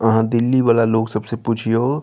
आहां दिल्ली वाला लोग सबसे पूछियो --